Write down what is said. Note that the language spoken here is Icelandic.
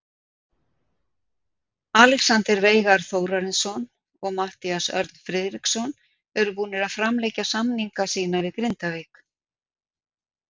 Alexander Veigar Þórarinsson og Matthías Örn Friðriksson eru búnir að framlengja samninga sína við Grindavík.